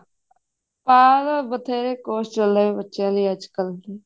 ਪਾ ਦੋ ਬਥੇਰੇ course ਚੱਲਦੇ ਪਏ ਬੱਚਿਆਂ ਨੇ ਅੱਜਕਲ